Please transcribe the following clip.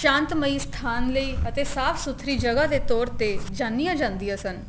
ਸ਼ਾਂਤ ਮਈ ਸਥਾਨ ਲਈ ਅਤੇ ਸਾਫ਼ ਸੁਥਰੀ ਜਗ੍ਹਾ ਦੇ ਤੋਰ ਤੇ ਜਾਣੀਆਂ ਜਾਂਦੀਆਂ ਸਨ